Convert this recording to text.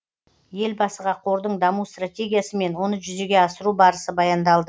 елбасыға қордың даму стратегиясы мен оны жүзеге асыру барысы баяндалды